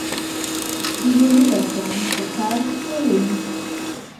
Privolila sem, zakaj, ne vem.